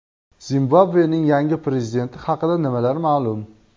Zimbabvening yangi prezidenti haqida nimalar ma’lum?.